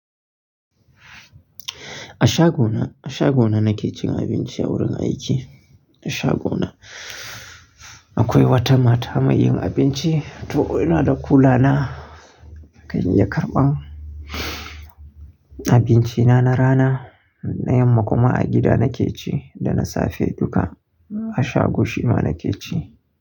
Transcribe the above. A shagona, a shagona nake cin abinci a wurin aiki. A shago na akwai wata mata mai yin abinci, to inada kulana kan ya karɓa abincina na rana. Na yamma kuma a gida nakeci da na safe duka a shago shima nake ci.